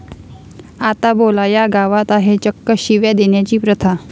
आता बोला, या गावात आहे चक्क शिव्या देण्याची प्रथा!